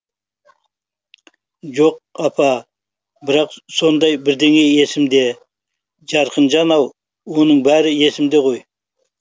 жоқ апа а бірақ сондай бірдеңе есімде е жарқынжан ау оның бәрі есімде ғой